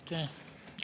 Aitäh!